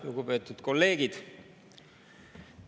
Lugupeetud kolleegid!